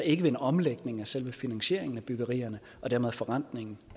ikke ved en omlægning af selve finansieringen af byggeriet og dermed forrentningen